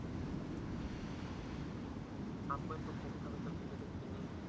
আপু এত গভীরভাবে তো ভেবে দেখিনি।